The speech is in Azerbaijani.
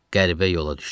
Qəribə yola düşdüm.